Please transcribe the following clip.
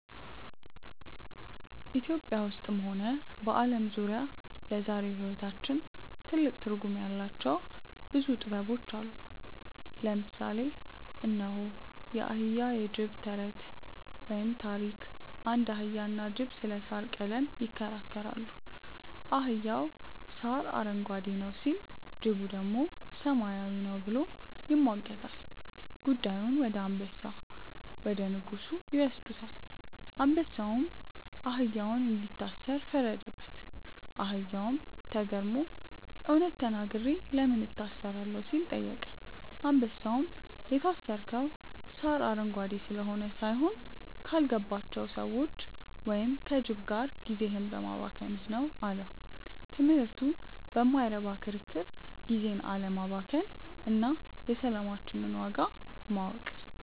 ኢትዮጵያ ውስጥም ሆነ በዓለም ዙሪያ ለዛሬው ሕይወታችን ትልቅ ትርጉም ያላቸው ብዙ ጥበቦች አሉ። ለምሳሌ እነሆ፦ የአህያና የጅብ ተረት (ታሪክ) አንድ አህያና ጅብ ስለ ሣር ቀለም ይከራከራሉ። አህያው "ሣር አረንጓዴ ነው" ሲል፣ ጅቡ ደግሞ "ሰማያዊ ነው" ብሎ ይሟገታል። ጉዳዩን ወደ አንበሳ (ንጉሡ) ይወስዱታል። አንበሳውም አህያውን እንዲታሰር ፈረደበት። አህያውም ተገርሞ "እውነት ተናግሬ ለምን እታሰራለሁ?" ሲል ጠየቀ። አንበሳውም "የታሰርከው ሣር አረንጓዴ ስለሆነ ሳይሆን፣ ካልገባቸው ሰዎች (ከጅብ) ጋር ጊዜህን በማባከንህ ነው" አለው። ትምህርቱ በማይረባ ክርክር ጊዜን አለማባከን እና የሰላማችንን ዋጋ ማወቅ።